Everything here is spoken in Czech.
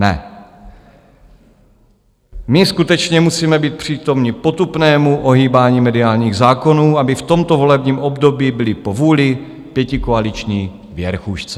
Ne, my skutečně musíme být přítomni potupnému ohýbání mediálních zákonů, aby v tomto volebním období byly po vůli pětikoaliční věrchušce.